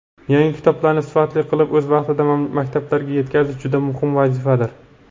Yangi kitoblarni sifatli qilib o‘z vaqtida maktablarga yetkazish juda muhim vazifadir.